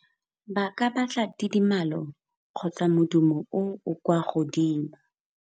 Ba ka batla tidimalo kgotsa modumo o o kwa godimo.